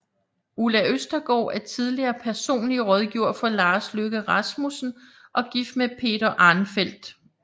Ulla Østergaard er tidligere personlig rådgiver for Lars Løkke Rasmussen og gift med Peter Arnfeldt